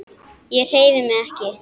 Ég hreyfi mig ekki.